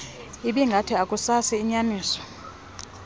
ibingathi akusasi inyaniso